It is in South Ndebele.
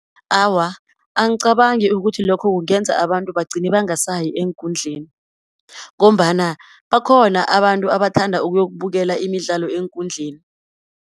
Awa, angicabangi ukuthi lokho kungenza abantu bagcine bangasayi eenkundleni, ngombana bakhona abantu abathanda ukuyokubukela imidlalo eenkundleni.